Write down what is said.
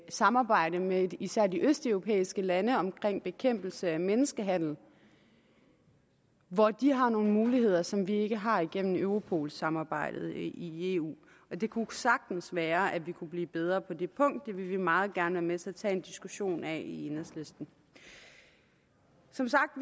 samarbejde med især de østeuropæiske lande omkring bekæmpelse af menneskehandel hvor de har nogle muligheder som vi ikke har igennem europolsamarbejdet i eu og det kunne sagtens være at vi kunne blive bedre på det punkt det vil vi meget gerne være med til at tage en diskussion af i enhedslisten som sagt